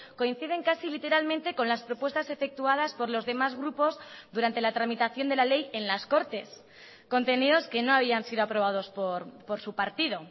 coinciden casi literalmente con las propuestas efectuadas por los demás grupos durante la tramitación de la ley en las cortes contenidos que no habían sido aprobados por su partido